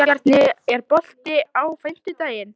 Guðbjarni, er bolti á fimmtudaginn?